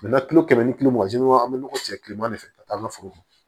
tulo kɛmɛ ni kulo mugan ni kɔ an bɛ nɔgɔ ci kilema de fɛ ka taa an ka foro kɔnɔ